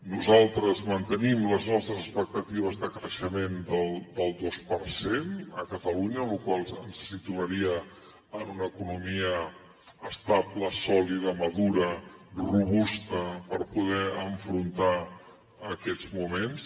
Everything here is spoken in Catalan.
nosaltres mantenim les nostres expectatives de creixement del dos per cent a catalunya cos que ens situaria en una economia estable sòlida madura robusta per poder afrontar aquests moments